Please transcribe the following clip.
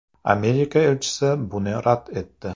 Amerika elchisi buni rad etdi.